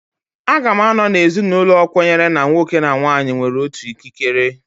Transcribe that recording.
Aga m anọ na ezinụlọ kwenyere na nwoke na nwaanyị nwere otu ikikere.